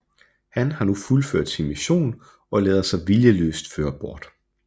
Han har nu fuldført sin mission og lader sig viljeløst føre bort